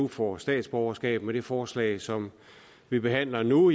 får statsborgerskab med det forslag som vi behandler nu